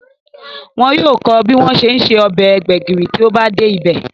Wọn yóò kọ́ ọ bí wọ́n ṣe ń se ọbẹ̀ gbẹ̀gìrì tí ó bá dé ibẹ̀